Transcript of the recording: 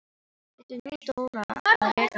Þurfti nú Dóra að reka á eftir henni!